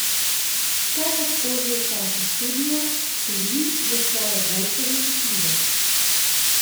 Kaj lahko že v času študija storim za svojo boljšo zaposljivost?